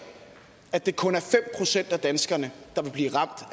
at det kun er fem procent af danskerne der vil blive ramt